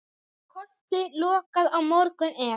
Kosti lokað á morgun ef.